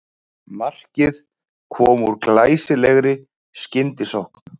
Markið kom úr glæsilegri skyndisókn